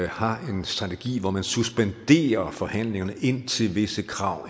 har en strategi hvor man suspenderer forhandlingerne indtil visse krav